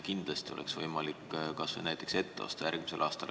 Kindlasti oleks võimalik midagi kas või ette osta järgmisel aastal.